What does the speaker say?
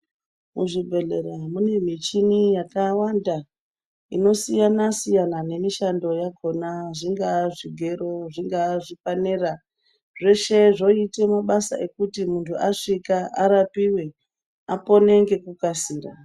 Zvitenda zvemukati menyama zvinobarwadza yaambo unozwa muntu eitsinzikana ndizvona. Ngatirumbe kuchibhedhleya kune madhogodheya anokona kuti hloya toto puve mitombo yekuti tirarame ndiyona.